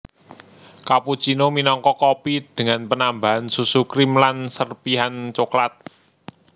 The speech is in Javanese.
Cappuccino minangka kopi dengan penambahan susu krim lan serpihan cokelat